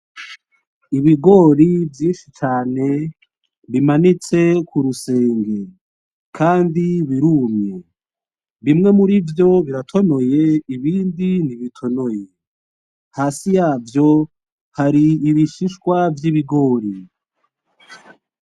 Ibigori vyinshi cane bimanitse ku rusenge, kandi birumye. Bimwe murivyo biratonoye ibindi ntibitonoye. Hasi yavyo hari ibishishwa vy'ibigori.